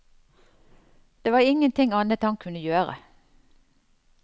Det var ingenting annet han kunne gjøre.